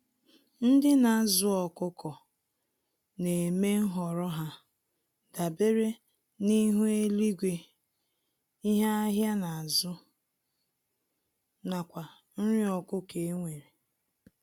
Ndị nazụ ọkụkọ némè' nhọrọ ha dabere n'ihu eluigwe, ihe ahịa nazụ, nakwa nri ọkụkọ enwere.